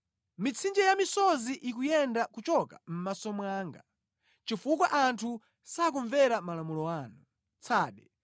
Mitsinje ya misozi ikuyenda kuchoka mʼmaso mwanga, chifukwa anthu sakumvera malamulo anu.